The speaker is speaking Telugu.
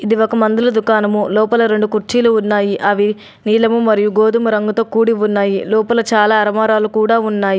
ఇది ఒక మందుల దుకాణము. లోపల రెండు కుర్చీలు ఉన్నాయి. అవి నీలము మరియు గోధుమ రంగుతో కూడి ఉన్నాయి. లోపల చాలా అర్మారాలు కూడా ఉన్నాయి.